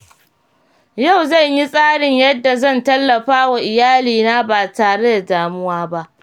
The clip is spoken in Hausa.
Yau zan yi tsarin yadda zan tallafa wa iyalina ba tare da damuwa ba.